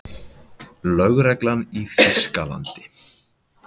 Lögreglan í Þýskalandi?